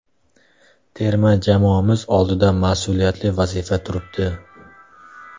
Terma jamoamiz oldida mas’uliyatli vazifa turibdi.